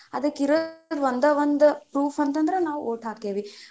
ಅದಕ್ಕ ಇರೋದು ಒಂದ ಒಂದ್ proof ಅಂತಂದ್ರ ನಾವು vote ಹಾಕೆವಿ.